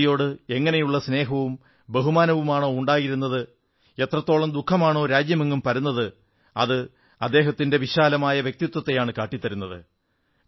അടൽജിയോട് എങ്ങനെയുള്ള സ്നേഹവും ബഹുമാനവുമാണോ ഉണ്ടായിരുന്നത് എത്രത്തോളം ദുഃഖമാണോ രാജ്യമെങ്ങും പരന്നത് അത് അദ്ദേഹത്തിന്റെ വിശാലമായ വ്യക്തിത്വത്തെയാണ് കാട്ടിത്തരുന്നത്